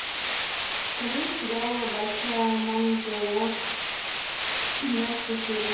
покажи мне сериал большая маленькая ложь двенадцатая серия